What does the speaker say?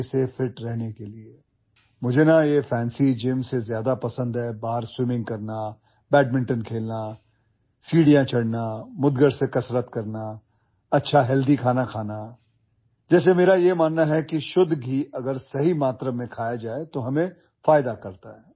What I like more than a fancy gym, is swimming outside, playing badminton, climbing stairs, exercising with a mudgar club bell, eating good healthy food... like I believe that pure ghee if eaten in right quantity is beneficial for us